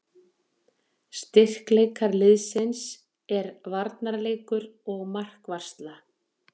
Styrkleikar liðsins er varnarleikur og markvarsla.